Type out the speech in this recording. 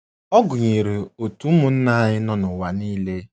Ọ gụnyere òtù ụmụnna anyị n’ụwa nile.